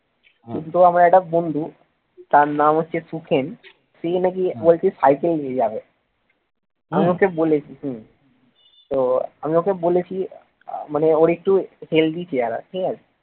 তো আমার একটা বন্ধু তার নাম হচ্ছে সুখেন সে নাকি বলছে cycle নিয়ে যাবে আমি ওকে বলেছি হম তো আমি ওকে বলেছি মানে ওর একটু healthy চেহারা ঠিক আছে